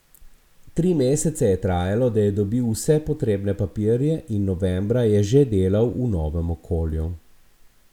Tri mesece je trajalo, da je dobil vse potrebne papirje in novembra je že delal v novem okolju.